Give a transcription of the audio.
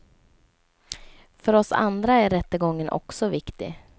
För oss andra är rättegången också viktig.